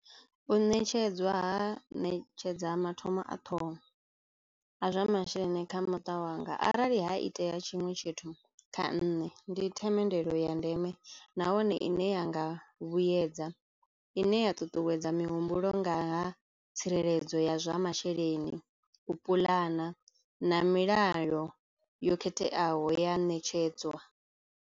U netshedzwa ha ṋetshedza mathomo a ṱhoho a zwa masheleni kha muṱa wanga. Arali ha itea tshiṅwe tshithu kha nṋe ndi themendelo ya ndeme nahone i ne ya nga vha vhuyedza i ne ya ṱuṱuwedza mihumbulo nga ha tsireledzo ya zwa masheleni, u puḽana na milayo yo khetheaho ya ṋetshedzwa.